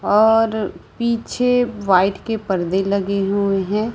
और पीछे वाइट के परदे लगे हुए हैं।